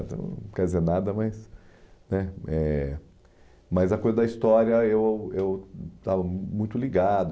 Não quer dizer nada, mas... né eh Mas a coisa da história, eu eu estava muito ligado.